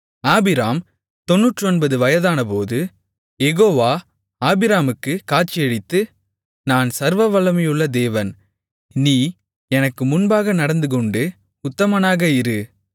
ஆபிராம் 99 வயதானபோது யெகோவா ஆபிராமுக்குக் காட்சியளித்து நான் சர்வவல்லமையுள்ள தேவன் நீ எனக்கு முன்பாக நடந்துகொண்டு உத்தமனாக இரு